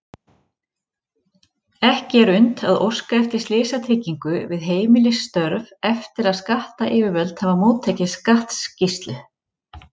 Ekki er unnt að óska eftir slysatryggingu við heimilisstörf eftir að skattayfirvöld hafa móttekið skattskýrslu.